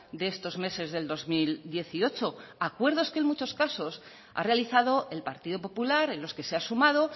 de estos meses del dos mil dieciocho acuerdos que en muchos casos ha realizado el partido popular en los que se ha sumado